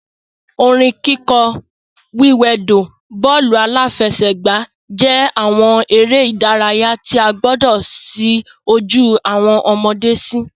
Orin kíkọ, wíwẹdò, bọ́ọ̀lù-aláfẹ́sẹ̀gbà jẹ́ àwọn eré ìdárayá tí a gbọdọ̀ ṣí ojú awọn ọmọde sí